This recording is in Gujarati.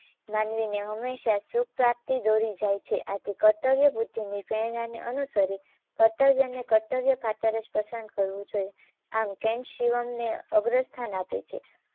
માનવીને હંમેશા સુખ પ્રાપ્તી દોરી જાય છે આથી કર્તવ્ય વૃતિની પ્રેરણાને અનુસરી કર્તવ્યને કર્તવ્ય ખાતર જ પસંદ કરવું જોઈએ. આમ કૅન્ટ શિવમને અગ્ર સ્થાન આપે છે